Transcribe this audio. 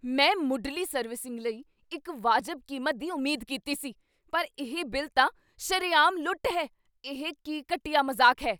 ਮੈਂ ਮੁੱਢਲੀ ਸਰਵਿਸਿੰਗ ਲਈ ਇੱਕ ਵਾਜਬ ਕੀਮਤ ਦੀ ਉਮੀਦ ਕੀਤੀ ਸੀ, ਪਰ ਇਹ ਬਿੱਲ ਤਾਂ ਸ਼ਰੇਆਮ ਲੁੱਟ ਹੈ! ਇਹ ਕੀ ਘਟੀਆ ਮਜ਼ਾਕ ਹੈ?